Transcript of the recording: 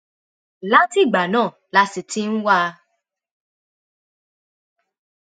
látìgbà náà la sì ti ń wá a